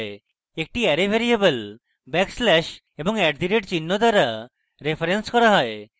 একটি array variable backslash এবং @চিহ্ন দ্বারা referenced করা হয়